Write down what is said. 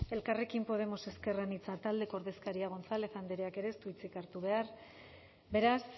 elkarrekin podemos ezker anitza taldeko ordezkaria gonzález andreak ere ez du hitzik hartu behar beraz